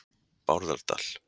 Bárðardal